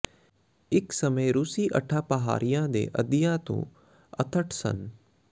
ਇਕ ਸਮੇਂ ਰੂਸੀ ਅੱਠਾਂ ਪਹਾੜਾਂ ਦੇ ਅੱਧਿਆਂ ਤੋਂ ਅੱਥਠ ਸਨ